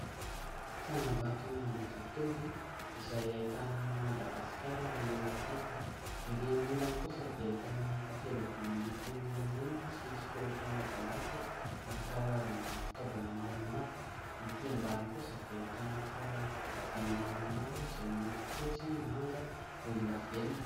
Tsangambaton'Ambohijatovo izay ahitana Madagasikara erỳ tampony. Erỳ aminy ilany kosa dia ahitana takela-by miloko menamena sy soratra mavomavo ary karazana fitaovana maromaro. Etỳ ambany kosa dia ahitana fiarakodia maromaro izay miloko fotsy, manga, volondavenona.